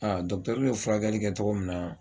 A ye furakɛli kɛ cogo min na